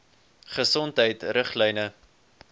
gesondheidriglyne